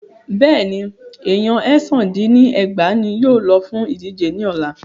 Bẹ́ẹ̀ni, èèyan èsán dín ní ẹgbàá ní yóò lọ fún ìdíje ní ọ̀la.